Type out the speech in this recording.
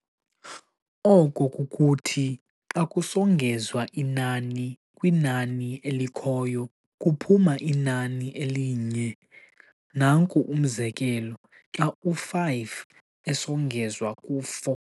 Oko kukuthi xa kusongezwa inani kwinani elikhoyo, kuphuma inani elinye, nanku umzekelo, xa u-5, esongezwa ku-4.